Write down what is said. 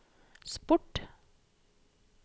sport